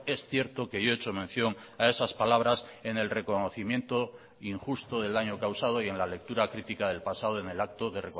es cierto que yo he hecho mención a esas palabras en el reconocimiento injusto del daño causado y en la lectura crítica del pasado en el acto de